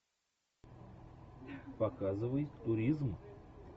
показывай туризм